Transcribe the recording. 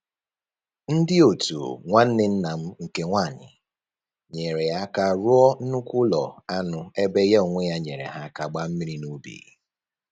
Ndị otu nwanne nna m nke nwanyị nyeere ya aka rụọ nnukwu ụlọ anụ ebe ya onwe ya nyeere ha aka gbaa mmiri n'ubi